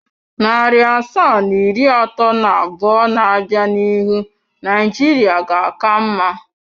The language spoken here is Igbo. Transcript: Narị asaa na iri atọ na abụọ na-abịa n'ihu Naijiria ga-aka mma.